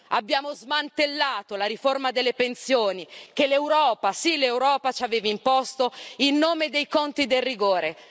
Abbiamo smantellato la riforma delle pensioni che l'Europa, sì l'Europa, ci aveva imposto il nome dei conti del rigore.